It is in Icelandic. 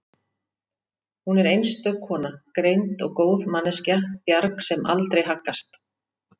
Hún er einstök kona, greind og góð manneskja, bjarg sem aldrei haggast